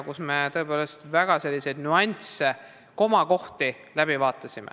Me vaatasime tõepoolest läbi nüansse, n-ö komakohti.